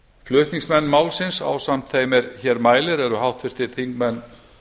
flutningsmenn málsins ásamt eða sem hér mælir eru háttvirtir þingmenn